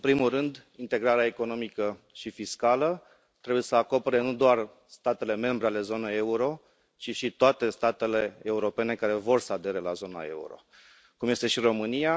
În primul rând, integrarea economică și fiscală trebuie să acopere nu doar statele membre ale zonei euro, ci și toate statele europene care vor să adere la zona euro, cum este și România.